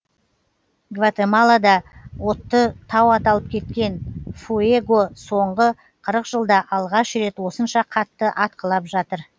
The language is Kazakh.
гватемалада отты тау аталып кеткен фуэго соңғы қырық жылда алғаш рет осынша қатты атқылап жатыр